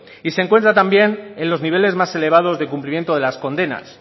y se encuentra también en los niveles más elevados de cumplimiento de las condenas